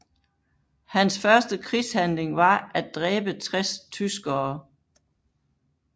Hans første krigshandling var at dræbe 60 tyskere